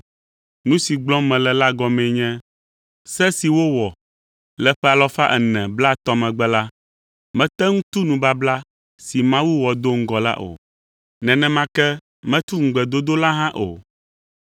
Nu si gblɔm mele la gɔmee nye: Se si wowɔ le ƒe 430 megbe la, mete ŋu tu nubabla si Mawu wɔ do ŋgɔ la o, nenema ke metu ŋugbedodo la hã o.